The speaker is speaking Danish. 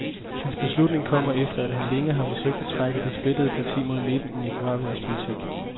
Hans beslutning kommer, efter at han længe har forsøgt at trække det splittede parti mod midten i nicaraguansk politik.